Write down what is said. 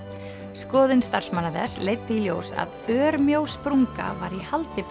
skoðun starfsmanna þess leiddi í ljós að örmjó sprunga var í haldi